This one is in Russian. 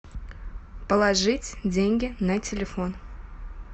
положить деньги на телефон